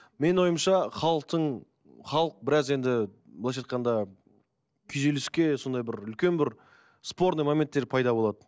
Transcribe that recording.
менің ойымша халықтың халық біраз енді былайынша айтқанда күйзеліске сондай бір үлкен бір спорный моменттер пайда болады